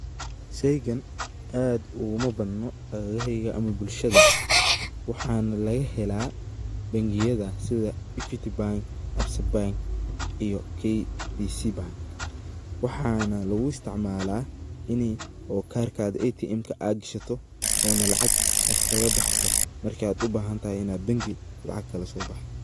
sheygan aad uguma badno agagaheyga ama bulshada waxana laga hela bengiyada sidaa equity bank, Absa bank iyo KCB bank. Waxana lugu isticmaala ini oo karkaga atmka ad gashaato ona lacag ad kala baxdo markad ubahantahy inad bengi lacag kala soo baxdo